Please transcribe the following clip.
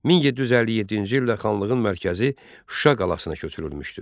1757-ci ildə xanlığın mərkəzi Şuşa qalasına köçürülmüşdü.